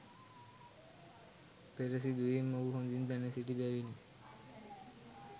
පෙර සිදුවීම් ඔහු හොඳින් දැනසිටි බැවිනි.